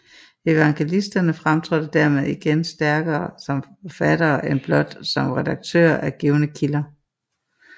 Evangelisterne fremtrådte dermed igen stærkere som forfattere end blot som redaktører af givne kilder